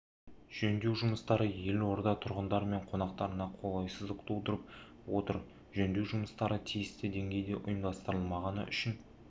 жөндеу жұмыстары елорда тұрғындары мен қонақтарына қолайсыздық тудырып отыр жөндеу жұмыстары тиісті деңгейде ұйымдастырылмағаны үшін